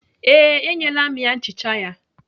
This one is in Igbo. Ee, enyela m ya nchicha ya.